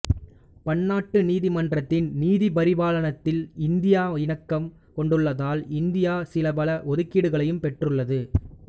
பன்னாட்டு நீதிமன்றத்தின் நீதிபரிபாலனத்தில் இந்தியா இணக்கம் கொண்டுள்ளதால் இந்தியா சில பல ஒதுக்கீடுகளையும் பெற்றுள்ளது